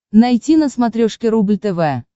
найти на смотрешке рубль тв